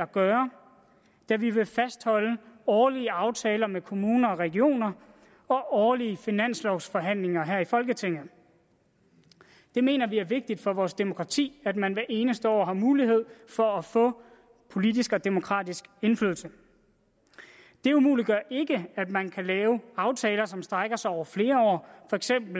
at gøre men fastholde årlige aftaler med kommuner og regioner og årlige finanslovsforhandlinger her i folketinget vi mener det er vigtigt for vores demokrati at man hvert eneste år har mulighed for at få politisk og demokratisk indflydelse det umuliggør ikke at man kan lave aftaler som strækker sig over flere år